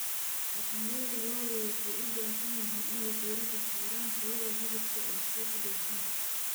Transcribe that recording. Dhaqanleyda lo'du waxay u baahan yihiin inay diiradda saaraan tayada hilibka ee suuqa dhoofinta.